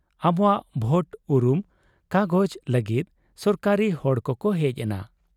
ᱟᱵᱚᱣᱟᱜ ᱵᱷᱳᱴ ᱩᱨᱩᱢ ᱠᱟᱜᱚᱡᱽ ᱞᱟᱹᱜᱤᱫ ᱥᱚᱨᱠᱟᱨᱤ ᱦᱚᱲ ᱠᱚᱠᱚ ᱦᱮᱡ ᱮᱱᱟ ᱾